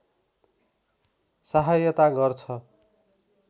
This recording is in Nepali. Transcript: सहायता गर्छ